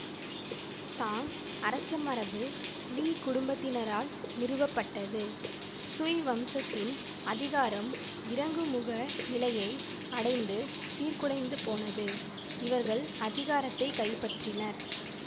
தாங் அரசமரபு லீ குடும்பத்தினரால் நிறுவப்பட்டது சுய் வம்சத்தின் அதிகாரம் இறங்குமுக நிலையை அடைந்து சீர்குலைந்துபோனது இவர்கள் அதிகாரத்தை கைப்பற்றினர்